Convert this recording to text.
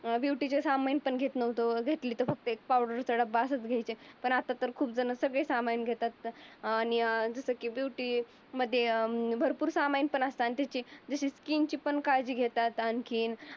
Beauty चे सामान पण घेत नव्हतो. घेतलं तर फक्त एक पावडरचा डब्बा असंच घेत होतो. पण आता तर खूप जण सगळे सामान घेतात. आणि जसं की ब्युटी मध्ये भरपूर सामान पण असतात त्याची. जसी स्किनची पण काळजी घेतात आणखी.